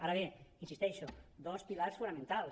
ara bé hi insisteixo dos pilars fonamentals